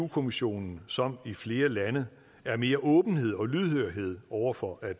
kommissionen som i flere lande er mere åbenhed og lydhørhed over for at